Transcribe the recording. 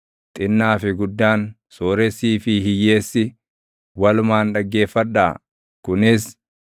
xinnaa fi guddaan, sooressii fi hiyyeessi walumaan dhaggeeffadhaa; kunis: